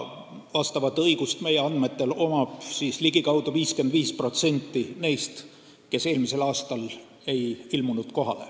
Seda õigust omab meie andmetel ligikaudu 55% neist, kes eelmisel aastal kohale ei ilmunud.